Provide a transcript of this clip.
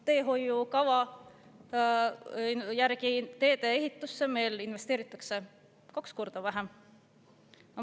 Teehoiukava järgi investeeritakse teedeehitusse kaks korda vähem.